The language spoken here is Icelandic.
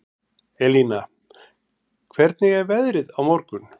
Elina, hvernig er veðrið á morgun?